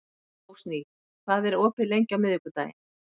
Rósný, hvað er opið lengi á miðvikudaginn?